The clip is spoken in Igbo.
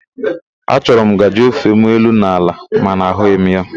A chọrọ m ngajị ofem elu na ala mana ahụghị m ya.